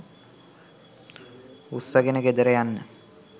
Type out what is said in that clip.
උස්සගෙන ගෙදර යන්න